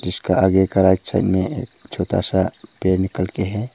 जिसका आगे का राइट साइड में एक छोटा सा पेड़ निकल के हैं।